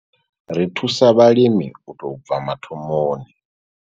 Ri thusa vhalimi u tou bva mathomoni.